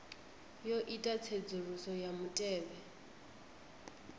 yo ita tsedzuluso ya mutevhe